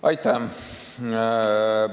Aitäh!